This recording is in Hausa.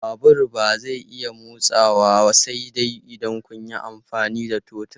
Babur ba zai iya motsawa sai dai idan kun yi amfani da totur.